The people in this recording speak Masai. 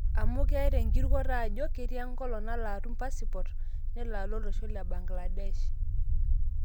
Apu ketaa enkirukoto ajo ketii enkolong nalo atum pasipot nelo alo olosho le Bangladesh.